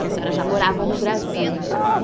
que a senhora já morava no Brasil. Ah